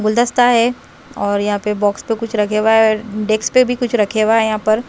गुलदस्ता है और यहाँ पे बॉक्स पे कुछ रखे हुआ है डेक्स पे भी कुछ रखे हुआ है यहाँ पर।